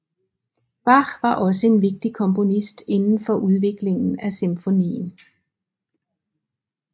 Bach var også en vigtig komponist indenfor udviklingen af symfonien